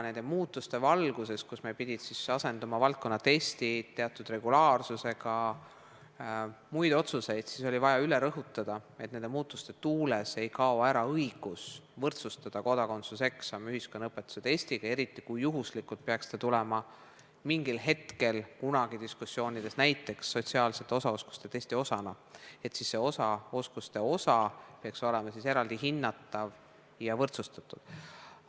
Nende muutuste valguses, kus meil pidid asenduma valdkonnatestid teatud regulaarsusega, oli vaja üle rõhutada, et nende muutuste tuules ei kao ära õigus võrdsustada kodakondsuseksam ühiskonnaõpetuse testiga – eriti kui see peaks juhuslikult tulema mingil hetkel kunagi diskussioonides läbi käinud sotsiaalsete osaoskuste testi osana –, st siis peaks see oskuste osa olema eraldi hinnatav ja võrdsustatud.